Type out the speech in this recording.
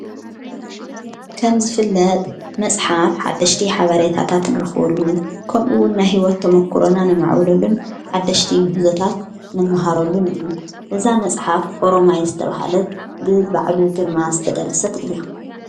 ከም ዝፍለጥ መጽሓፍ ሓደሽቲ ሓበሬታታትንርኽወሉ ከምኡውን ናሕይወት ተምኲሮና ነማዕብለሉን ሓደሽቲ ምሕዞታት ንመሃረሉን እዩ እዛ መጽሓፍ ኦሮማይ ዝተብሃለት ብባዕሉ ግርማ ዝተደረሰት እያ።